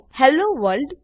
hello world